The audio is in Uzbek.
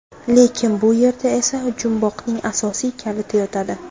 Lekin bu yerda esa jumboqning asosiy kaliti yotadi.